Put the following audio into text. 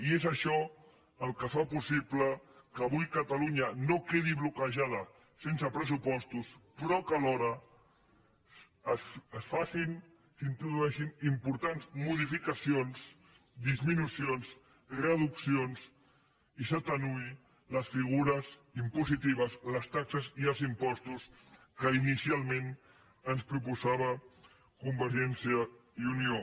i és això el que fa possible que avui catalunya no quedi bloquejada sense pressupostos però que alhora es facin s’introdueixin importants modificacions disminucions reduccions i s’atenuïn les figures impositives les taxes i els impostos que inicialment ens proposava convergència i unió